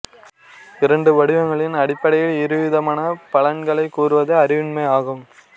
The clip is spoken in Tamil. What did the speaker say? இரண்டு வடிவங்களின் அடிப்படையில் இருவிதமான பலன்களைக் கூறுவது அறிவின்மை ஆகும்